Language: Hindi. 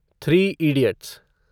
three idiots